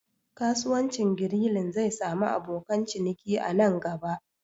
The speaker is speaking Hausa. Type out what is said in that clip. Kasuwancin Grilling zai sami abokan ciniki a nan gaba